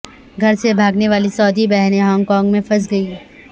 گھر سے بھاگنے والی سعودی بہنیں ہانگ کانگ میں پھنس گئیں